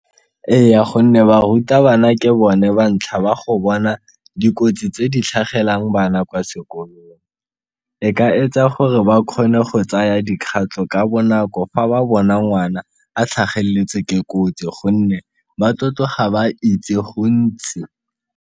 Eya, gonne barutabana ke bone ba ntlha ba go bona dikotsi tse di tlhagelang bana kwa sekolong, e ka etsa gore ba kgone go tsaya dikgatlho ka bonako fa ba bona ngwana a tlhageletse ke kotsi gonne ba tlo tloga ba itse gontsi.